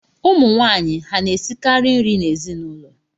Ụmụnwaanyị ha na-esikara nri n’ezinụlọ?